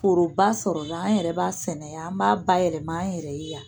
Foroba sɔrɔla an yɛrɛ b'a sɛnɛ yan an b'a bayɛlɛma an yɛrɛ ye yan